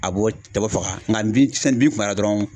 A b'o kɛ k'o faga nka bin sanni bin kunbayara dɔrɔnw